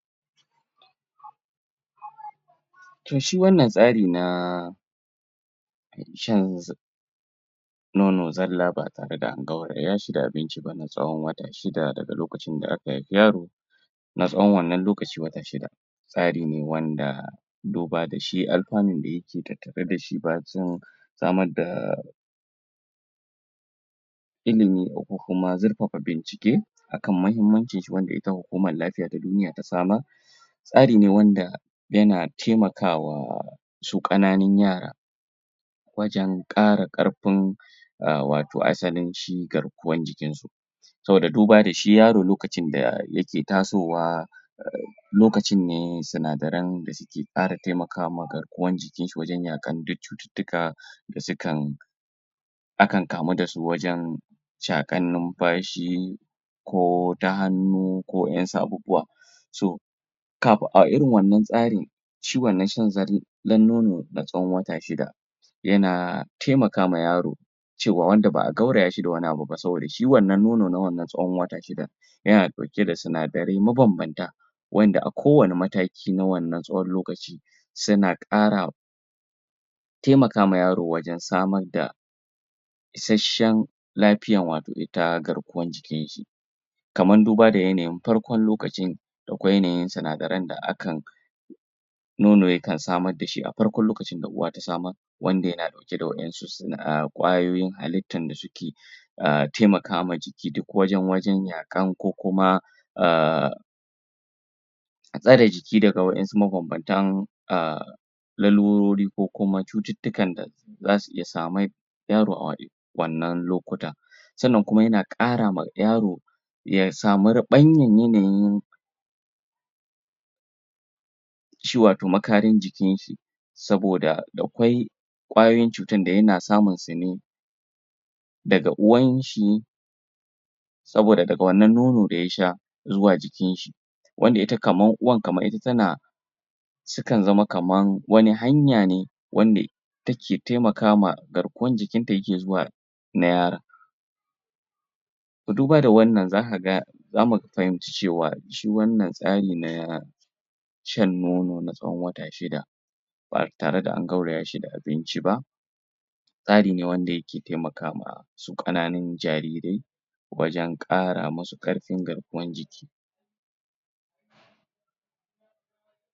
Toh shi wannan tsari na shan nono zalla ba tare da ya shiga abincin na tsowon wata shida daga lokacin aka aiki yaro na tsowon wannan lokaci wata shida tsari ne wanda duba da shi yake tattare da shi samar da illimi ko kuma zurfafa bincike akan mahimmancin shi wanda ita hukamar lafiya ta duniya ta samar. Tsari ne wanda yana taimaka wa su kananin yara wajen kara karfin a wato asalin cigarkuwan jikin su saboda duba da shi yaro lokacin da yake tasowa lokacin ne sunadarai da suke kara taimaka ma garkuwan jikin shi wajen cuttutuka da sukan akan kamu da su wajen chakan numfashi ko ta hanu ko yan sabobuwa so, kafin, a irin wannan tsari, shi wannan shan dan nono na tsowon wata shida, yana taimaka wa yaro cewa wanda ba a gauraya shi da wane abu ba saboda shi wanna nono na wannan tsowon wata shida, yana dauke da sunadarai ma bambanta wanda a kowane mataki na wannan tsowon lokaci, suna kara taimaka wa yaro wajen samar da ishassen lafiya wato ita garkuwan jikin shi kaman duba da farkon lokacin da ko da yanayin sa na da ran da akan Nono yakan samar da shi a farkon lokacin da uwa ta wanda yana dauke da wanannan kayoyin halitan da suke a taimaka wa jiki duk wajen, wajen ko kuma a jiki daga wayansu ma bambantan a lalurori ko kuma cuttutukan da za su iya yaro a wannan lokuta. Sannan kuma yan kara wa yaro ya samu yanayin jikin shi saboda da quai kwayoyin cutan da yana samun su ne daga uwan shi saboda daga wannan nonon da yasha zuwa jikin shi, wanda ita kaman uwan, kaman ita tana sukan zama kaman wane hanya ne wande take taimakawa, garkuwan jikin ta yake zuwa na ma duba da wannan za ka ga, za mu fahimci cewa, shi wannan tsari na shan nono na tsowon wata shida ba tare da an gauraya shi da abinci ba tsari ne wanda yake taimakawa kananin jarirai